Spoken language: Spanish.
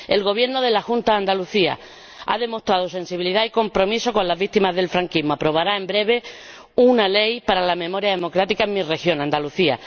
El Gobierno de la Junta de Andalucía ha demostrado sensibilidad y compromiso con las víctimas del franquismo y aprobará en breve una ley para la memoria democrática en mi región, Andalucía.